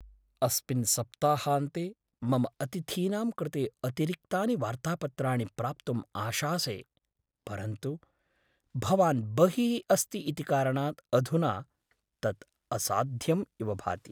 अस्मिन् सप्ताहान्ते मम अतिथीनां कृते अतिरिक्तानि वार्तापत्राणि प्राप्तुम् आशासे, परन्तु भवान् बहिः अस्ति इति कारणात् अधुना तत् असाध्यम् इव भाति।